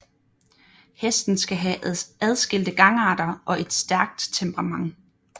Hesten skal have adskilte gangarter og et stærkt temperament